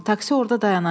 Taksi orada dayanacaq.